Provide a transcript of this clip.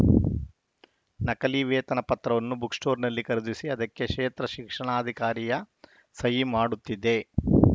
ನಕಲಿ ವೇತನ ಪತ್ರವನ್ನು ಬುಕ್‌ ಸ್ಟೋರ್‌ನಲ್ಲಿ ಖರೀದಿಸಿ ಅದಕ್ಕೆ ಕ್ಷೇತ್ರ ಶಿಕ್ಷಣಾಧಿಕಾರಿಯ ಸಹಿ ಮಾಡುತ್ತಿದ್ದೆ